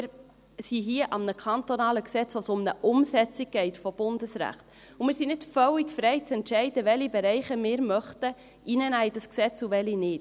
Wir sind hier an einem kantonalen Gesetz, in dem es um die Umsetzung von Bundesrecht geht, und wir sind nicht völlig frei zu entscheiden, welche Bereiche wir in dieses Gesetz hineinnehmen möchten und welche nicht.